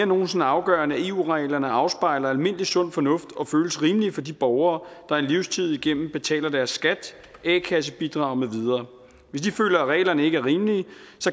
nogen sinde afgørende at eu reglerne afspejler almindelig sund fornuft og føles rimelige for de borgere der en livstid igennem betaler deres skat a kasse bidrag med videre hvis de føler at reglerne ikke er rimelige